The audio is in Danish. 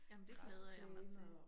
Jamen det glæder jeg mig til